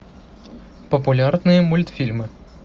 популярные мультфильмы